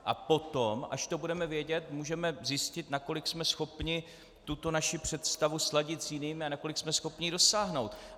A potom, až to budeme vědět, můžeme zjistit, nakolik jsme schopni tuto naši představu sladit s jinými a nakolik jsme schopni ji dosáhnout.